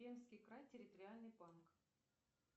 пермский край территориальный банк